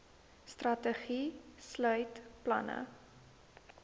strategie sluit planne